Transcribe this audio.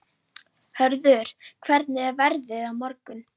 Hörður, hvernig er veðrið á morgun?